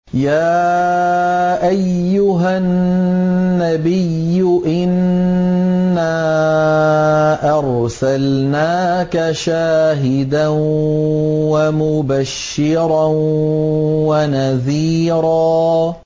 يَا أَيُّهَا النَّبِيُّ إِنَّا أَرْسَلْنَاكَ شَاهِدًا وَمُبَشِّرًا وَنَذِيرًا